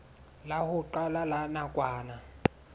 la ho qala la nakwana